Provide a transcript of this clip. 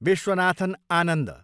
Viswanathan Anand